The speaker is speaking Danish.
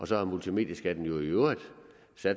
så er multimedieskatten jo i øvrigt